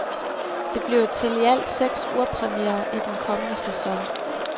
Det bliver til i alt seks urpremierer i den kommende sæson.